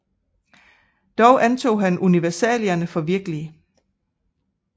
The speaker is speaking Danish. Dog antog han universalierne for virkelige